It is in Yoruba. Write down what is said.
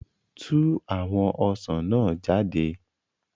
Tú àwọn ọsàn náà jáde